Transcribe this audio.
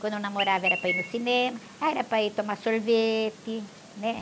Quando eu namorava, era para ir no cinema, ah, era para ir tomar sorvete, né?